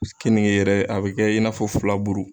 Keninke yɛrɛ a bɛ kɛ i nafɔ fulaburu.